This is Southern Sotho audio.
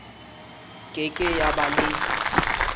ke ke ya ba le